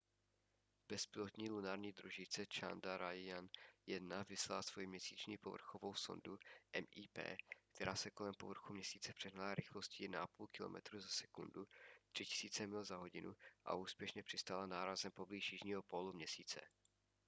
bezpilotní lunární družice chandrayaan-1 vyslala svoji měsíční povrchovou sondu mip která se kolem povrchu měsíce přehnala rychlostí 1,5 kilometru za vteřinu 3000 mil za hodinu a úspěšně přistála nárazem poblíž jižního pólu měsíce